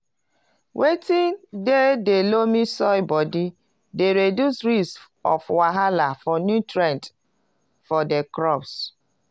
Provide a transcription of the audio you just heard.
watin dey di loamy soil body dey reduce risk of wahala for nutrients for di crops